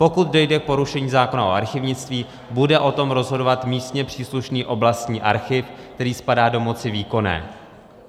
Pokud dojde k porušení zákona o archivnictví, bude o tom rozhodovat místně příslušný oblastní archiv, který spadá do moci výkonné.